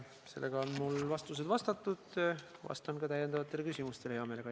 Sellega on mul vastused vastatud, aga vastan ka täiendavatele küsimustele hea meelega.